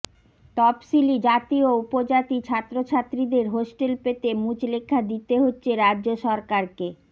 তফসিলী জাতি ও উপজাতি ছাত্রছাত্রীদের হস্টেল পেতে মুচলেখা দিতে হচ্ছে রাজ্য সরকারকে